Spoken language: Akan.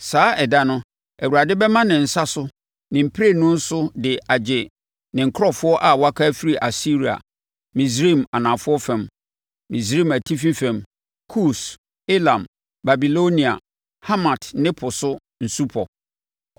Saa ɛda no, Awurade bɛma ne nsa so ne mprɛnu so de agye ne nkurɔfoɔ a wɔaka afiri Asiria, Misraim anafoɔ fam, Misraim atifi fam, Kus, Elam, Babilonia, Hamat ne Po so nsupɔ.